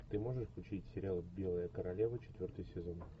ты можешь включить сериал белая королева четвертый сезон